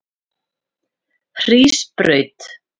Hrísbraut